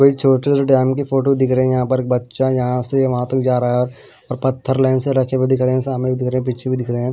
कोई छोटे से टाइम के फोटो दिख रहे हैं यहां पर बच्चा यहां से वहां तक जा रहा है और पत्थर लेंस रखे हुए दिख रहे हैं सामने भी दिख रहे हैं पीछे भी दिख रहे हैं।